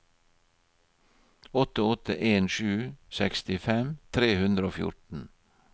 åtte åtte en sju sekstifem tre hundre og fjorten